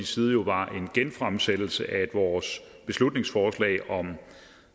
side jo var en genfremsættelse af vores beslutningsforslag om